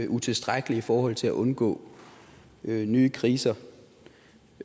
utilstrækkelig i forhold til at undgå nye kriser